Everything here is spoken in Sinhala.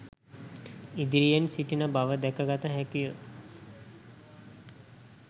ඉදිරියෙන් සිටින බව දැකගත හැකිය